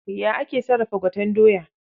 Ya ake sarrafa gwaten doya?